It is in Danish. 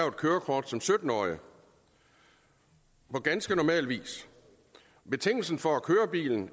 et kørekort som sytten årige på ganske normal vis betingelsen for at køre bilen